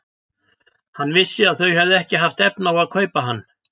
Hann vissi að þau höfðu ekki haft efni á að kaupa hann.